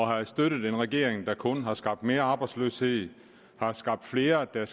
have støttet en regering der kun har skabt mere arbejdsløshed har skabt flere der